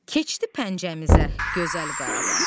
Keçdi pəncəmizə gözəl Qarabağ!